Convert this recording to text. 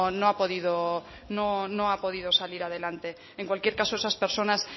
no ha podido salir adelante en cualquier caso esas personas